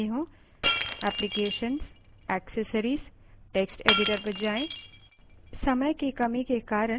applications> accessories> text editor पर जाएँ